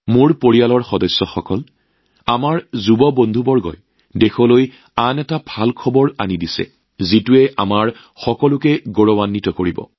মোৰ পৰিয়ালৰ সদস্য আমাৰ তৰুণ বন্ধুসকলে দেশখনক আন এক উল্লেখযোগ্য খবৰ দিছে যিয়ে আমাৰ সকলোকে গৌৰৱান্বিত কৰিছে